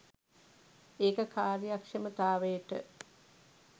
ඒක කාර්යක්ෂමතාවයට